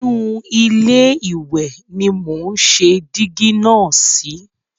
Inú ilé ìwẹ̀ ni mò ń ṣe dígí náà sí.